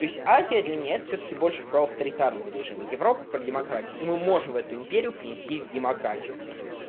то есть азия для меня это всё-таки больше про авторитарный режим европа про демократию и мы можем в эту империю принести в демократию